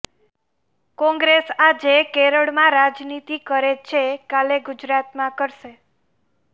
કોંગ્રેસ આજે કેરળમાં રાજનીતિ કરે છે કાલે ગુજરાતમાં કરશે